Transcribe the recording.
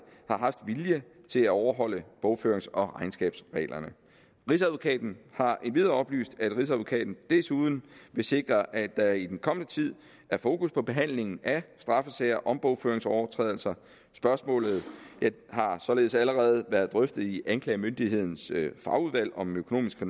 har haft vilje til at overholde bogførings og regnskabsreglerne rigsadvokaten har endvidere oplyst at rigsadvokaten desuden vil sikre at der i den kommende tid er fokus på behandling af straffesager om bogføringsovertrædelser spørgsmålet har således allerede været drøftet i anklagemyndighedens fagudvalg om økonomisk